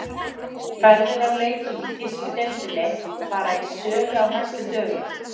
Ferðir á leiki í þýsku deildinni fara í sölu á næstu dögum.